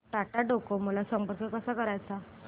Tata Docomo ला संपर्क कसा करायचा